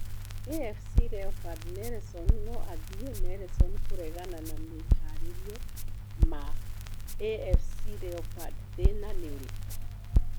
AFC Leopards: Nelson no athiĩ Nelson kũregana na mĩharerio ma AFC Leopards - thĩna nĩ ũrĩkũ?